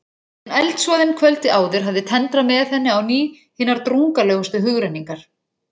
En eldsvoðinn kvöldið áður hafði tendrað með henni á ný hinar drungalegustu hugrenningar.